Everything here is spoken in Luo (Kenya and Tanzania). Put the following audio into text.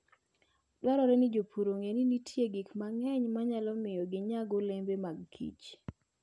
Dwarore ni jopur ong'e ni nitie gik mang'eny manyalo miyo ginyag olembe mag kich.